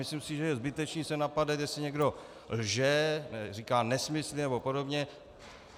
Myslím si, že je zbytečné se napadat, jestli někdo lže, říká nesmysly a podobně.